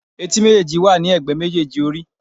Etí méjèèjì wà ní ègbé méjèèjì orí.